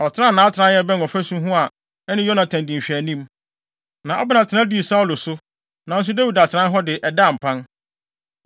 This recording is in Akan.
Ɔtenaa nʼatenae a ɛbɛn ɔfasu ho a ɛne Yonatan di nhwɛanim, na Abner tena dii Saulo so, nanso Dawid atenae hɔ de, ɛdaa mpan.